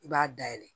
I b'a dayɛlɛ